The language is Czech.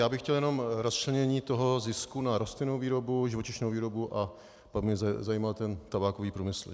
Já bych chtěl jenom rozčlenění toho zisku na rostlinnou výrobu, živočišnou výrobu a pak mě zajímá ten tabákový průmysl.